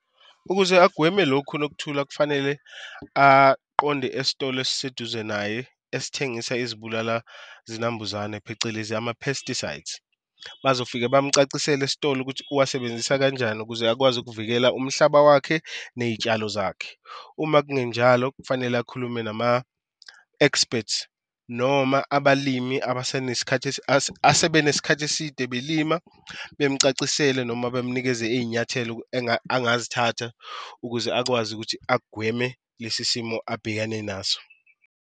Ukuze agweme lokhu uNokuthula, kufanele aqonde esitolo esiseduze naye esithengisa izibulalazinambuzane, phecelezi ama-pesticides, bazofike bamucacisele esitolo ukuthi uwasebenza kanjani ukuze akwazi ukuvikela umhlaba wakhe ney'tshalo zakhe. Uma kungenjalo kufanele akhulume nama-experts noma abalimi sebenesikhathi eside belima bemucacisele noma bemnikeze iy'nyathelo angazithatha ukuze akwazi ukuthi agweme lesi simo abhekane naso.